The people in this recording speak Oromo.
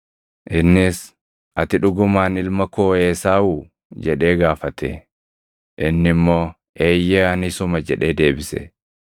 Innis, “Ati dhugumaan ilma koo Esaawuu?” jedhee gaafate. Inni immoo, “Eeyyee ani isuma” jedhee deebise.